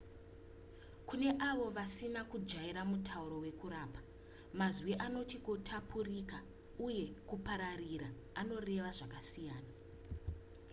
kune avo vasina kujaira mutauro wekurapa mazwi anoti kutapukira uye kupararira anoreva zvakasiyana